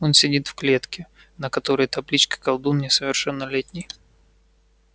он сидит в клетке на которой табличка колдун несовершеннолетний